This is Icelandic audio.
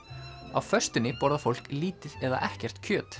á föstunni borðar fólk lítið eða ekkert kjöt